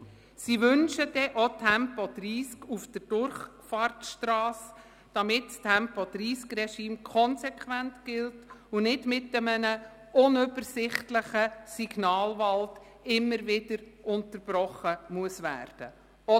Sie wünschen dann auch Tempo 30 auf der Durchfahrtsstrasse, damit das Tempo-30-Regime konsequent gilt und nicht mit einem unübersichtlichen Signalwald immer wieder unterbrochen werden muss.